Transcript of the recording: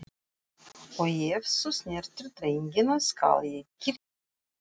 Og ef þú snertir drengina skal ég kyrkja þig.